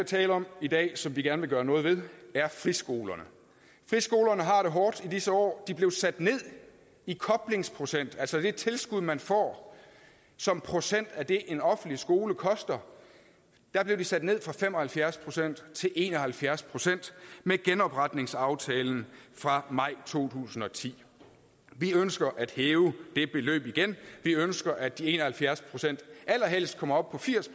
tale om i dag og som vi gerne vil gøre noget ved er friskolerne friskolerne har det hårdt i disse år de blev sat ned i koblingsprocent altså det tilskud man får som procent af det en offentlig skole koster der blev de sat ned fra fem og halvfjerds procent til en og halvfjerds procent ved genopretningsaftalen fra maj to tusind og ti vi ønsker at hæve det beløb igen vi ønsker at de en og halvfjerds procent allerhelst kommer op på firs